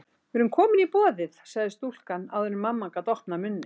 Við eðum komin í boðið, sagði stúlkan áður en mamma gat opnað munninn.